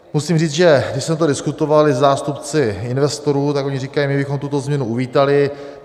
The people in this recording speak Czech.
Musím říct, že když jsme to diskutovali se zástupci investorů, tak oni říkají: My bychom tuto změnu uvítali.